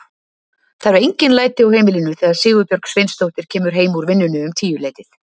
Það eru engin læti á heimilinu þegar Sigurbjörg Sveinsdóttir kemur heim úr vinnunni um tíuleytið.